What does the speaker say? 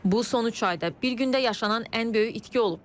Bu, son üç ayda bir gündə yaşanan ən böyük itki olub.